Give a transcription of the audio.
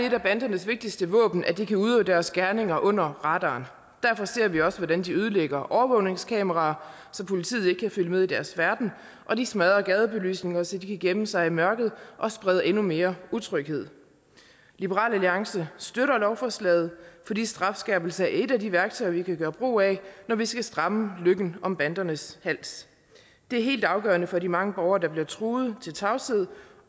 et af bandernes vigtigste våben at de kan udøve deres gerninger under radaren derfor ser vi også hvordan de ødelægger overvågningskameraer så politiet ikke kan finde ud af deres færden og de smadrer gadebelysninger så de kan gemme sig i mørket og sprede endnu mere utryghed liberal alliance støtter lovforslaget fordi strafskærpelser er et af de værktøjer vi kan gøre brug af når vi skal stramme løkken om bandernes hals det er helt afgørende for de mange borgere der bliver truet til tavshed